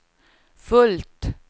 fullt